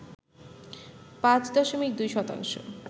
পাঁচ দশমিক দুই শতাংশ